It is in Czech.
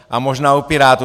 A možná u Pirátů.